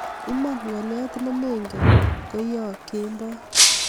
Iman, ngolyo nemengen ko yoo kemboi